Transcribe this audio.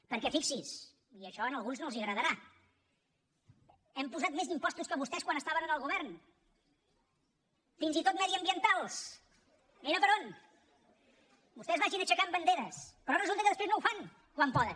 perquè fixi s’hi i això a alguns no els agradarà hem posat més impostos que vostès quan estaven en el govern fins i tot mediambientals mira per on vostès vagin aixecant banderes però resulta que després no ho fan quan poden